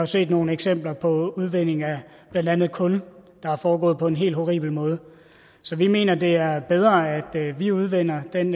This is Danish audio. set nogle eksempler på udvinding af blandt andet kul der er foregået på en helt horribel måde så vi mener det er bedre at vi udvinder den